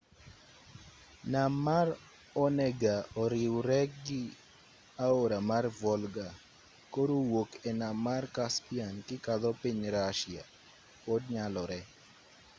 nam mar onega oriwregi aora mar volga koro wuok e nam mar caspian kikadho piny russia pod nyalore